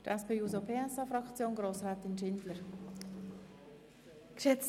Für die SP-JUSO-PSA-Fraktion hat Grossrätin Schindler das Wort.